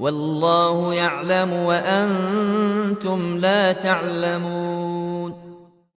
وَاللَّهُ يَعْلَمُ وَأَنتُمْ لَا تَعْلَمُونَ